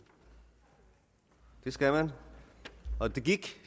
det skal man og det gik